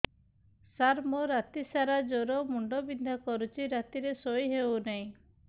ସାର ମୋର ରାତି ସାରା ଜ୍ଵର ମୁଣ୍ଡ ବିନ୍ଧା କରୁଛି ରାତିରେ ଶୋଇ ହେଉ ନାହିଁ